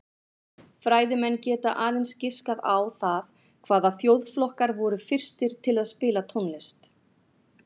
Fræðimenn geta aðeins giskað á það hvaða þjóðflokkar voru fyrstir til að spila tónlist.